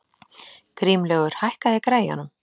Grímlaugur, hækkaðu í græjunum.